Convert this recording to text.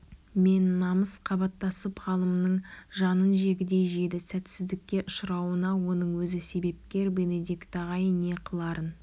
мен намыс қабаттасып ғалымның жанын жегідей жеді сәтсіздікке ұшырауына оның өзі себепкер бенедикт ағай не қыларын